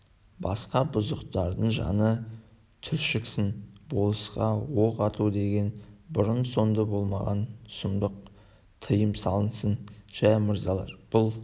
басқа бұзықтардың жаны түршіксін болысқа оқ ату деген бұрын-соңды болмаған сұмдық тыйым салынсын жә мырзалар бұл